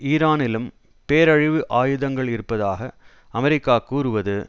ஈரானிலும் பேரழிவு ஆயுதங்கள் இருப்பதாக அமெரிக்கா கூறுவது